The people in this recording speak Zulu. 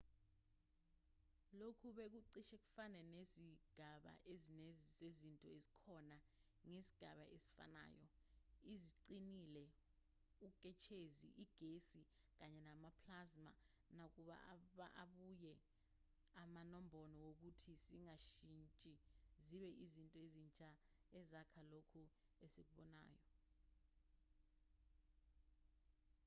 lokhu bekucishe kufane nezigaba ezine zezinto ezikhona ngesigaba esifanayo: eziqinile uketshezi igesi kanye ne-plasma nakuba abuye aba nombono wokuthi zingashintsha zibe izinto ezintsha ezakha lokho esikubonayo